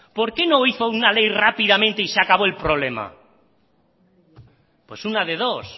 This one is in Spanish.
por qué no hizo una ley rápidamente y se acabó el problema pues una de dos